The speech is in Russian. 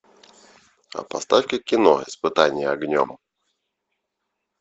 поставь ка кино испытание огнем